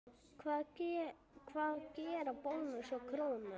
Hvað gera Bónus og Krónan?